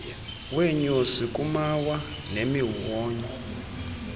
weenyosi kumawa nemiwonyo